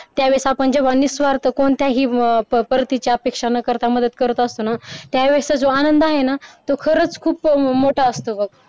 त्यावेळी जेव्हा निस्वार्थ कोणत्याही पद्धतीचे अपेक्षा न करता मदत करत असतो ना त्यावेळेस जो आनंद आहे ना तो खरच खूप मोठा असतो बघ.